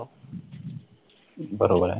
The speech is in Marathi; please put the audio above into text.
बरोबर आहे